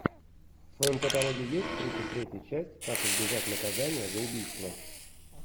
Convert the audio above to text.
в твоем каталоге есть тридцать третья часть как избежать наказания за убийство